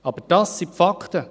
Aber dies sind die Fakten!